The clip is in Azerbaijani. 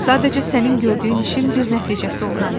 Sadəcə sənin gördüyün işin bir nəticəsi ola bilər.